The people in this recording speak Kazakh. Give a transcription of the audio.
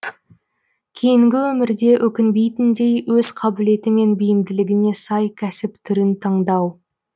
кейінгі өмірде өкінбейтіндей өз қабілеті мен бейімділігіне сай кәсіп түрін таңдау